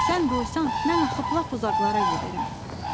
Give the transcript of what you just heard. Sən doysan, mən axıb lap uzaqlara gedərəm.